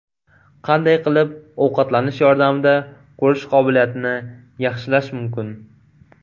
Qanday qilib ovqatlanish yordamida ko‘rish qobiliyatini yaxshilash mumkin?.